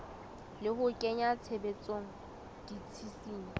le ho kenya tshebetsong ditshisinyo